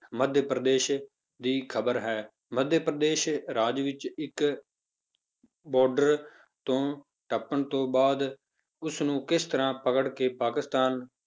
ਮੱਧ ਪ੍ਰਦੇਸ਼ ਦੀ ਖ਼ਬਰ ਹੈ ਮੱਧ ਪ੍ਰਦੇਸ਼ ਰਾਜ ਵਿੱਚ ਇੱਕ border ਤੋਂ ਟੱਪਣ ਤੋਂ ਬਾਅਦ ਉਸਨੂੰ ਕਿਸ ਤਰ੍ਹਾਂ ਪਕੜ ਕੇ ਪਾਕਿਸਤਾਨ